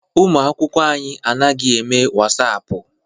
Ụmụ akwụkwọ anyị adịghị eme Wasaapụ.